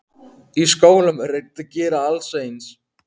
Í skólum er reynt að gera alla eins.